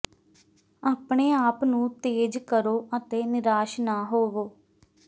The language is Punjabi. ਆਪਣੇ ਆਪ ਨੂੰ ਤੇਜ਼ ਕਰੋ ਅਤੇ ਨਿਰਾਸ਼ ਨਾ ਹੋਵੋ